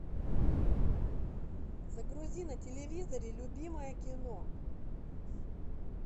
загрузи на телевизоре любимое кино